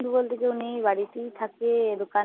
বন্ধু বলতে কেউ নেই। বাড়িতেই থাকে।